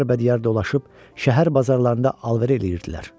Diyar bədiyar dolaşıb şəhər bazarlarında alver eləyirdilər.